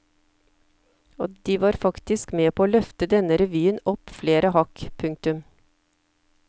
Og de var faktisk med på å løfte denne revyen opp flere hakk. punktum